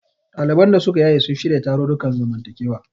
Ɗaliban da suka yaye sun shirya tarurrukan zamantakewa.